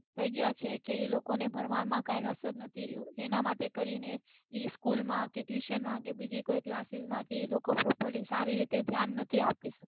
થઈ ગયા છે તેમેને ભણવા માં કઈ રસ જ ની રહ્યું એના માટે કરીને એ school કે tuition માં કે બીજે કોઈ classis માં પોતાની રીતે સારું ઘ્યાન નથી આપી સકતા